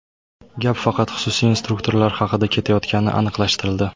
Gap faqat xususiy instruktorlar haqida ketayotgani aniqlashtirildi.